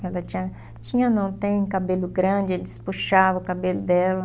Quando ela tinha, tinha não tem cabelo grande, eles puxavam o cabelo dela.